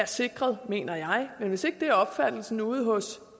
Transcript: sikret mener jeg men hvis ikke det er opfattelsen ude hos